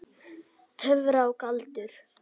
Töfrar og galdur.